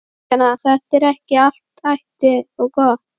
Kristjana: Þetta er ekki allt ætt og gott?